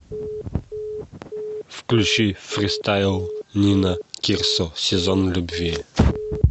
включи фристайл нина кирсо сезон любви